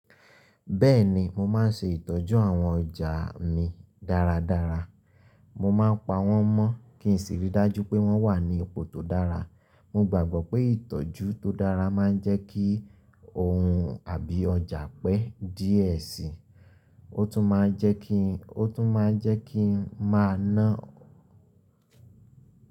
Bẹ́ẹ̀ni, mo máa ń ṣe ìtọ́jú àwọn ọjà mi dáradára. Mo máa ń pa wọ́n mọ́ kí n sì ríi dájú pé wọ́n wà ní ipò tó dára. Mo gbàgbọ́ pé ìtọ́jú tó dára máa ń jẹ́ kí ohun àbí ọjà pẹ́ díẹ̀ síi, ó tún máa jẹ́ kí ó tún máa jẹ́ kí n máa ná.